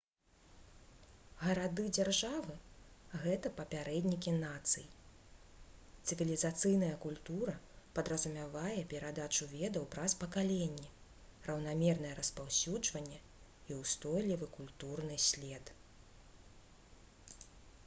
гарады-дзяржавы гэта папярэднікі нацый цывілізацыйная культура падразумявае перадачу ведаў праз пакаленні раўнамернае распаўсюджванне і устойлівы культурны след